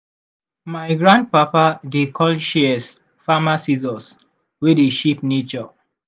my grandpapa dey call shears farmer scissors wey dey shape nature.